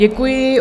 Děkuji.